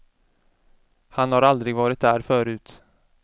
Han har aldrig varit där förut.